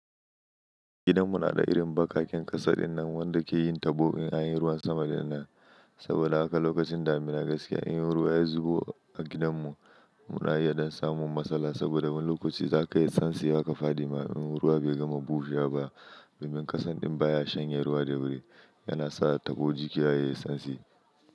Gidanmu na da irin bakaken ƙasa dinnan wanda ke yin tabo in anyi ruwan sama dinnan. Saboda haka lokacin damuna gaskiya in ruwa ya zubo a gidanmu, muna iya don samun matsala saboda wani lokaci zaka yi tsansi haka faɗi ma in ruwa bai gama bushe ba. Domin kasan din baya shanye ruwa da wuri yana sa tabo jiki yayi tsansi.